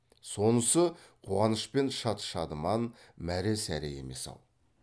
сонысы қуаныш пен шат шадыман мәре сәре емес ау